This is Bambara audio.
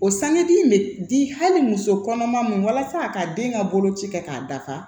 O sanudi in bɛ di hali muso kɔnɔma ma walasa ka den ka boloci kɛ k'a dafa